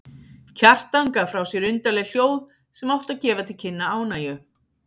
Kjartan gaf frá sér undarleg hljóð sem áttu að gefa til kynna ánægju.